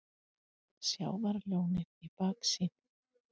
Sjávarlónið í baksýn.